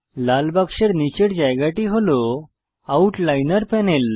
লাল বাক্সের নীচের জায়গাটি হল আউটলাইনার প্যানেল